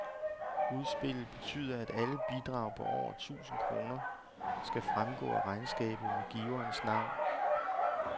Udspillet betyder, at alle bidrag på over tusind kroner skal fremgå af regnskabet med giverens navn.